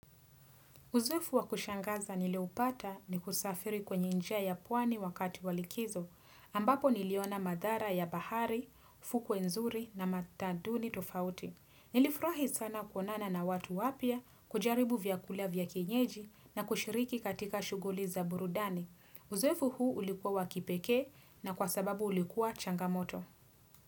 Uzoefu wa kushangaza nilioupata ni kusafiri kwenye njia ya pwani wakati walikizo, ambapo niliona madhara ya bahari, fukwe nzuri na mataduni tofauti. Nilifurahi sana kuonana na watu wapya kujaribu vyakula vya kienyeji na kushiriki katika shughuli za burudani. Uzoefu huu ulikuwa wakipekee na kwa sababu ulikuwa changamoto.